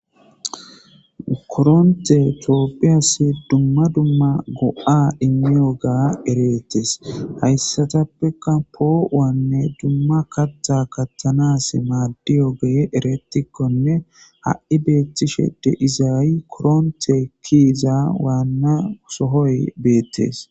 koronte tooppiyas dumma dumma go7a immiyo ga ereettes hayssatappeka poowanne dumma katha katthanas maadiyo gee eretikkonne ha7i beettishe de izaayi koronte kiiza waanna sohoy beettes